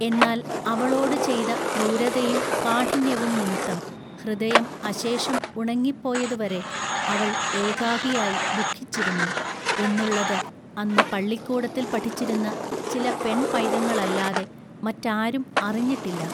എന്നാൽ അവളോടു ചെയ്ത ക്രൂരതയും കാഠിന്ന്യവും നിമിത്തം ഹൃദയം അശേഷം ഉണങ്ങിപ്പോയതുവരെ അവൾ ഏകാകിയായി ദുഃഖിച്ചിരുന്നു എന്നുള്ളത് അന്ന് പള്ളിക്കൂടത്തിൽ പഠിച്ചിരുന്ന ചില പെൺപൈതങ്ങളല്ലാതെ മറ്റാരും അറിഞ്ഞിട്ടില്ല.